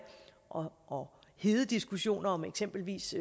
og og hede diskussioner om eksempelvis